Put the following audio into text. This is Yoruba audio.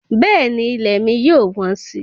Bẹ́ẹ̀ni ilẹ̀ mi yóò wọ́n si